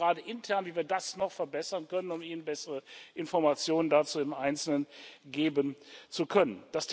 Wir überlegen gerade intern, wie wir das noch verbessern können, um Ihnen bessere Informationen dazu im Einzelnen geben zu können.